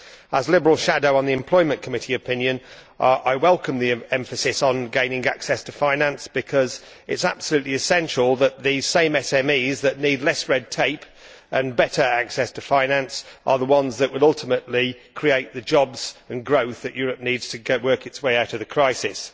As Liberal shadow for the opinion of the Committee on Employment and Social Affairs, I welcome the emphasis on gaining access to finance because it is absolutely essential, and the same SMEs that need less red tape and better access to finance are the ones that will ultimately create the jobs and growth that Europe needs to work its way out of the crisis.